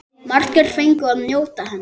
Margir fengu að njóta hennar.